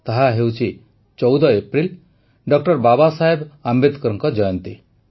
ତାହା ହେଉଛି ୧୪ April doctor Babasaheb ଅମ୍ବେଦକରଙ୍କ ଜନ୍ମଜୟନ୍ତୀ